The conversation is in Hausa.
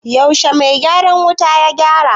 Yaushe mai gyaran wutar ya gyara?